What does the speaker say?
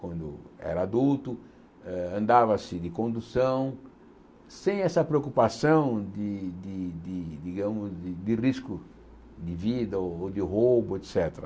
Quando era adulto, eh andava-se de condução, sem essa preocupação de de de de digamos de de risco de vida ou ou de roubo, et cétera.